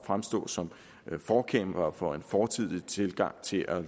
fremstå som forkæmpere for en fortidig tilgang til at